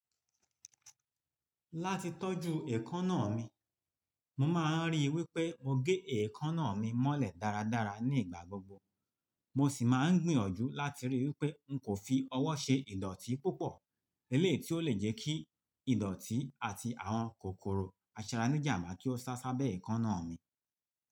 Láti tọ́jú èékánná mi, mo máa ń ríi wí pé mo gé èékánná mi mọ́lẹ̀ dáradára ní ìgbà gbogbo. Mo ṣì máa ń gbìyànjú láti ríi wí pé, n kò fi ọwọ́ ṣe ìdọ̀tí púpọ̀, eléyii ti ó lè jẹ́ kí ìdọ̀tí àti àwọn kòkòrò aṣara nì jàmba kí ó sá sábẹ́ èékánná mi.